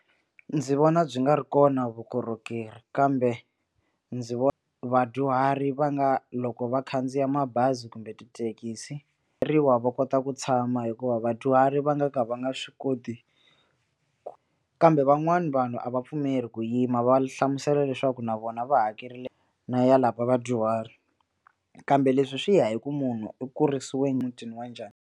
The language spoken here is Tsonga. Ndzi vona byi nga ri kona vukorhokeri kambe ndzi vona vadyuhari va nga loko va khandziya mabazi kumbe tithekisi ri wa va kota ku tshama hikuva vadyuhari va nga ka va nga swi koti kambe van'wani vanhu a va pfumeli ku yima va hlamusela leswaku na vona va hakerile na ya lava vadyuhari kambe leswi swi ya hi ku munhu u kurisiwe emutini wa njhani.